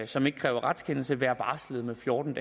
som ikke kræver retskendelse være varslet fjorten